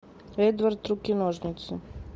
эдвард руки ножницы